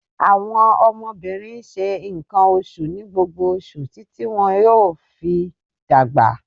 Àwọn ọmọbirin n ṣe nkan oṣu ni gbogbo oṣu titi ti wọn yoo fi dagba